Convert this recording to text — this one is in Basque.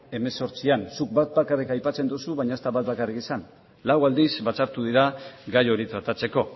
hemezortzian zuk bat bakarrik aipatzen duzu baina ez da bat bakarrik izan lau aldiz batzartu dira gai hori tratatzeko